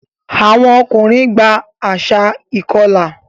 Àwọn ọkùnrin gba àṣà ìkọlà.